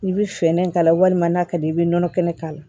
N'i bɛ fɛɛrɛ k'a la walima n'a ka di i bɛ nɔnɔ kɛnɛ k'a la